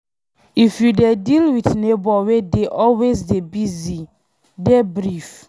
If you dey deal with neigbour wey dey always dey busy, dey brief